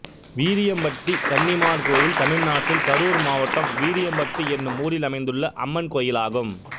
வீரியம்பட்டி கன்னிமார் கோயில் தமிழ்நாட்டில் கரூர் மாவட்டம் வீரியம்பட்டி என்னும் ஊரில் அமைந்துள்ள அம்மன் கோயிலாகும்